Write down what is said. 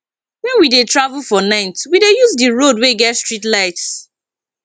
wen we dey travel for night we dey use di road wey get streetlights